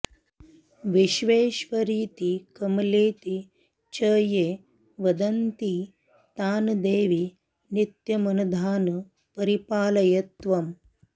विश्वेश्वरीति कमलेति च ये वदन्ति तान् देवि नित्यमनधान् परिपालय त्वम्